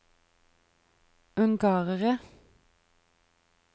ungarere